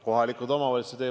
Kohalikud omavalitsused.